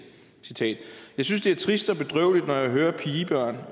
jeg synes at det er trist og bedrøveligt når jeg hører pigebørn